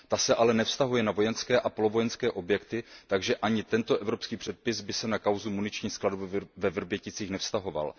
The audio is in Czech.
Ta se ale nevztahuje na vojenské a polovojenské objekty, takže ani tento evropský předpis by se na kauzu muničních skladů ve Vrběticích nevztahoval.